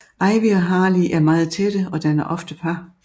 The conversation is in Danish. Ivy og Harley er meget tætte og danner ofte par